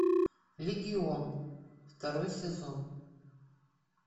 легион второй сезон